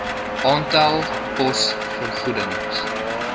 aantal pos vergoedings